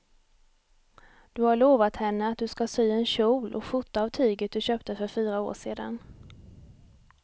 Du har lovat henne att du ska sy en kjol och skjorta av tyget du köpte för fyra år sedan.